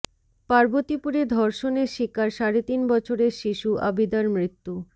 পার্বতীপুরে ধর্ষণের শিকার সাড়ে তিন বছরের শিশু আবিদার মৃত্যু